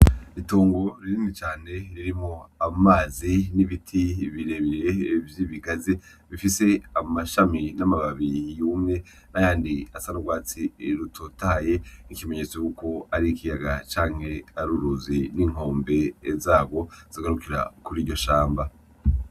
Itongo rinini cane ririmwo amazi n'ibiti birebire vy'ibigazi bifise amashami n'amababi yumye nayandi asa n'urwatsi rutotahaye nk'ikimenyetso yuko ari ikiyaga canke ari uruzi n'inkombe zarwo zigarukira kuri iryo shamba.